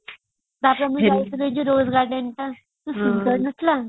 ତାପରେ ଆମେ ଯାଇଥିଲୁ rose gardenଟା କେତେ ସୁନ୍ଦର ନଥିଲା